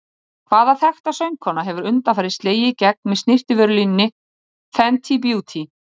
Hvaða þekkta söngkona hefur undanfarið slegið í gegn með snyrtivörulínunni Fenty Beauty?